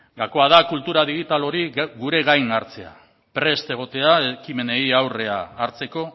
gakoa da kultura digital hori gure gain hartzea prest egotea ekimenei aurrea hartzeko